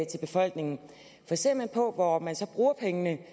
til befolkningen ser vi på hvor man så bruger pengene